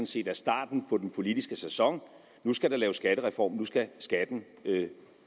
set er starten på den politiske sæson nu skal der laves skattereform nu skal skatten